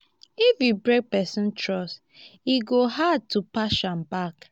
if you break person trust e go hard to patch am back.